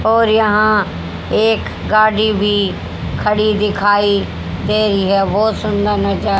और यहां एक गाड़ी भी खड़ी दिखाई दे रही है बहोत सुंदर नजारा--